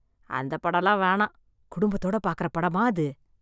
அந்த படம்லாம் வேணாம், குடும்பத்தோட பாக்கிற படமா அது?